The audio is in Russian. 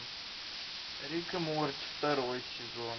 рик и морти второй сезон